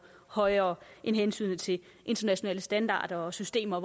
højere end hensynet til internationale standarder og systemer